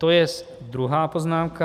To jest druhá poznámka.